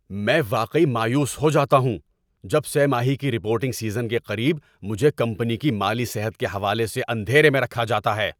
میں واقعی مایوس ہو جاتا ہوں جب سہ ماہی کی رپورٹنگ سیزن کے قریب مجھے کمپنی کی مالی صحت کے حوالے سے اندھیرے میں رکھا جاتا ہے۔